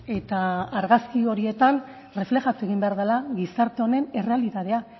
eta argazki horietan erreflejatu egin behar dela gizarte honen errealitatea